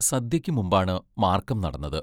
സദ്യയ്ക്ക് മുമ്പാണ് മാർക്കം നടന്നത്...